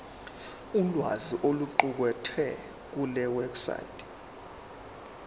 ulwazi oluqukethwe kulewebsite